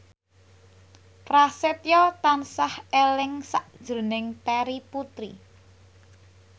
Prasetyo tansah eling sakjroning Terry Putri